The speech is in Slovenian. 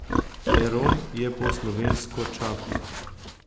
Heron je po slovensko čaplja.